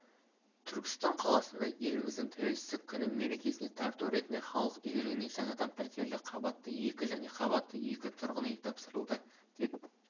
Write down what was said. түркістан қаласында еліміздің тәуелсіздік күні мерекесіне тарту ретінде халық игілігіне жаңадан пәтерлі қабатты екі және қабатты екі тұрғын үй тапсырылды деп